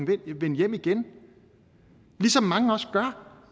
kan vende hjem igen ligesom mange også gør